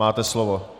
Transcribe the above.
Máte slovo.